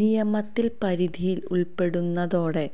നിയമത്തിൽ പരിധിയിൽ ഉൾപ്പെടുന്നതോടെ